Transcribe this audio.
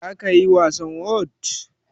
zakayi wasan whot?